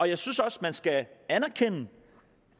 jeg synes også man skal anerkende